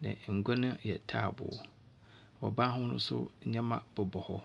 na ngua no yɛ taaboo, ɔban ho so ndzɛma bobɔ hɔ.